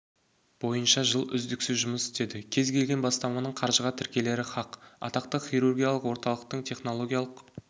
бойынша жыл үздіксіз жұмыс істеді кез келген бастаманың қаржыға тірелері хақ атақты хирургиялық орталық технологиялық